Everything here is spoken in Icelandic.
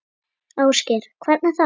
Ásgeir: Hvernig þá?